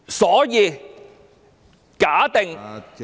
所以，假定......